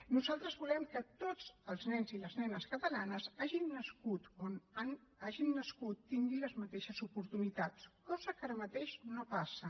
nosaltres volem que tots els nens i les nenes catalanes hagin nascut on hagin nascut tinguin les mateixes oportunitats cosa que ara mateix no passa